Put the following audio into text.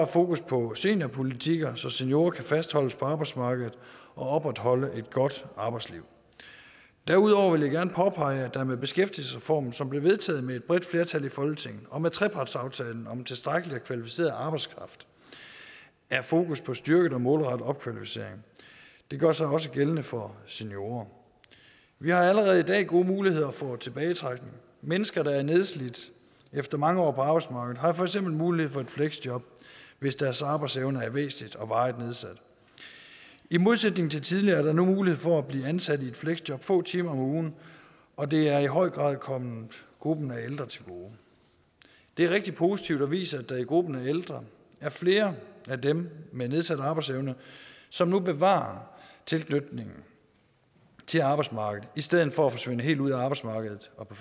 fokus på seniorpolitikker så seniorer kan fastholdes på arbejdsmarkedet og opretholde et godt arbejdsliv derudover vil jeg gerne påpege at der med beskæftigelsesreformen som blev vedtaget med et bredt flertal i folketinget og med trepartsaftalen om en tilstrækkelig og kvalificeret arbejdskraft er fokus på styrket og målrettet opkvalificering det gør sig også gældende for seniorer vi har allerede i dag gode muligheder for tilbagetrækning mennesker der er nedslidte efter mange år på arbejdsmarkedet har for eksempel mulighed for et fleksjob hvis deres arbejdsevne er væsentligt og varigt nedsat i modsætning til tidligere er der nu mulighed for at blive ansat i et fleksjob få timer om ugen og det er i høj grad kommet gruppen af ældre til gode det er rigtig positivt og viser at der i gruppen af ældre er flere af dem med nedsat arbejdsevne som nu bevarer tilknytningen til arbejdsmarkedet i stedet for at forsvinde helt ud af arbejdsmarkedet og på